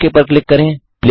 okay पर click करें